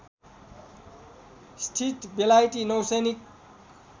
स्थित बेलायती नौसैनिक